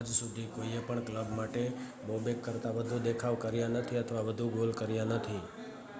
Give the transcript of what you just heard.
આજ સુધી કોઈએ પણ કલબ માટે બોબેક કરતા વધુ દેખાવ કર્યા નથી અથવા વધુ ગોલ કર્યા નથી